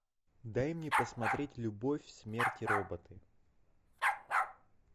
дай мне посмотреть любовь смерть и роботы